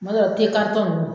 Tuma dɔ la nn